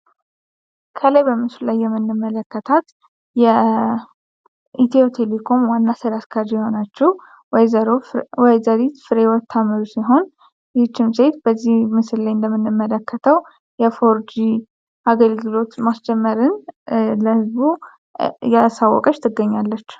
ከላይ በምስሉ ላይ የምንመለከታት የኢትዮ ቴሌኮም ዋና ስራ አስኪያጅ የሆነችው ወይዘሪት ፍሬወት ታምሩ ሲሆን፤ ይቺም ሴት በምስሉ ላይ እንደምንመለከተው የፎር ጂ አገልግሎት ማስጀመርን ለህዝቡ እያሳወቀች ትገኛለች።